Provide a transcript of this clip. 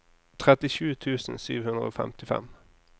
tretti tusen sju hundre og femtifem